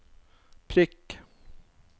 prikk